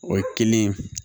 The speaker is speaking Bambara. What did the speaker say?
O ye kelen ye